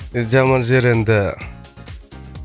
жаман жері енді